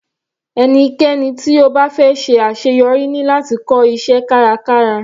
Ẹnikẹ́ni tí ó fẹ́ ṣe àṣeyọrí ní láti kọ́ iṣẹ́ kárakára.